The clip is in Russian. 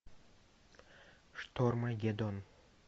штормагеддон